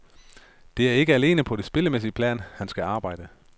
Det er ikke alene på det spillemæssige plan, han skal arbejde.